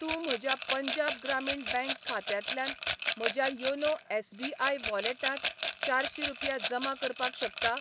तूं म्हज्या पंजाब ग्रामीण बँक खात्यांतल्यान म्हज्या योनो एस.बी.आय वॉलेटांत चारशी रुपया जमा करपाक शकता?